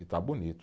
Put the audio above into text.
E está bonito.